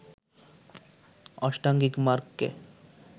অষ্টাঙ্গিক মার্গকে